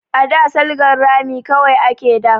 A da salgan rami kawai ake da